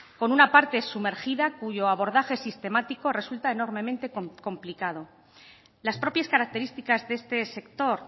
con una parte sumergida cuyo abordaje sistemático resulta enormemente complicado las propias características de este sector